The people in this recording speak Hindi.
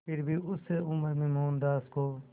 फिर भी उस उम्र में मोहनदास को